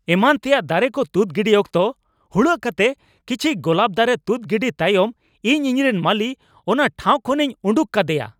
ᱮᱢᱟᱱ ᱛᱮᱭᱟᱜ ᱫᱟᱨᱮ ᱠᱚ ᱛᱩᱫ ᱜᱤᱰᱤ ᱚᱠᱛᱚ ᱦᱩᱲᱟᱹᱜ ᱠᱟᱛᱮ ᱠᱤᱪᱷᱤ ᱜᱳᱞᱟᱯ ᱫᱟᱨᱮ ᱛᱩᱫ ᱜᱤᱰᱤ ᱛᱟᱭᱚᱢ ᱤᱧ ᱤᱧᱨᱮᱱ ᱢᱟᱹᱞᱤ ᱚᱱᱟ ᱴᱷᱟᱶ ᱠᱷᱚᱱᱤᱧ ᱩᱰᱩᱠ ᱠᱟᱫᱮᱭᱟ ᱾